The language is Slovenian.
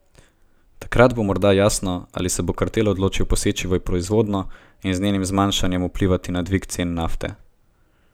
Takrat bo morda jasno, ali se bo kartel odločil poseči v proizvodnjo in z njenim zmanjšanjem vplivati na dvig cen nafte.